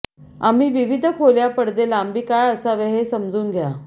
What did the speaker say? आम्ही विविध खोल्या पडदे लांबी काय असावे हे समजून घ्या